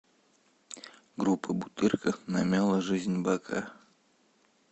группа бутырка намяла жизнь бока